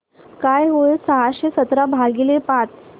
काय होईल सहाशे सतरा भागीले पाच